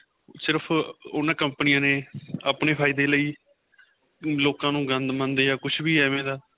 ਸਿਰਫ਼ ਉਹਨਾ ਕੰਪਨੀਆਂ ਨੇ ਆਪਣੇਂ ਫਾਇਦੇ ਲਈ ਲੋਕਾਂ ਨੂੰ ਗੰਦ ਮੰਦ ਜਾਂ ਕੁੱਛ ਵੀ ਐਵੇ ਦਾ